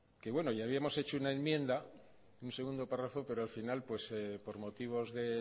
que ya habíamos hecho una enmienda un segundo párrafo pero al final por motivos de